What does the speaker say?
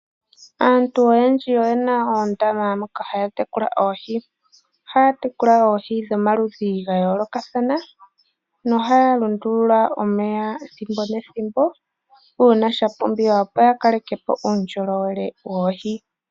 Aantu oyendji oyena oondama moka haya tekula oohi, ohaya tekula oohi dhomaludhi ga yoolokathana ohaya lundulula omeya ethimbo nethimbo uuna shapumbiwa opo ya kalekepo uunjolo wele woohi.